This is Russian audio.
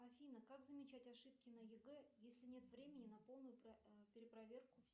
афина как замечать ошибки на егэ если нет времени на полную перепроверку